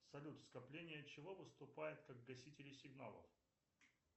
салют скопление чего выступает как гасители сигналов